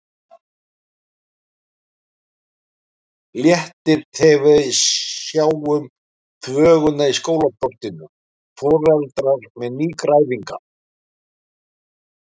Léttir þegar við sjáum þvöguna í skólaportinu, foreldrar með nýgræðinga.